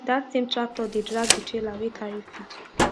that same tractor dey drag the trailer wey carry feed